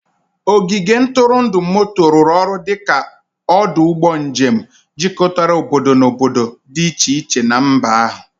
Ogige ntụrụndụ moto rụrụ ọrụ dị ka ọdụ ụgbọ njem, jikọtara obodo na obodo dị iche iche na mba ahụ.